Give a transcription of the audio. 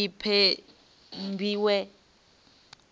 i ṱempiwe